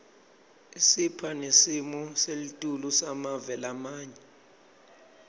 isipha nesimo selitulu semave lamanye